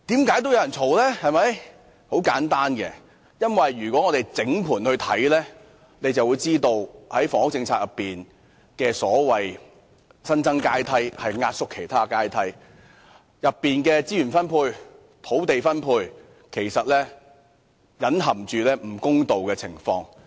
原因很簡單，如果大家作通盤審視，便會發現在房屋政策中所謂的"新增階梯"，其實是壓縮其他階梯，當中涉及的資源及土地分配其實隱含不公道的情況。